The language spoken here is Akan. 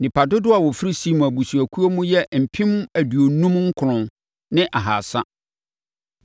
Nnipa dodoɔ a wɔfiri Simeon abusuakuo mu yɛ mpem aduonum nkron ne ahasa (59,300).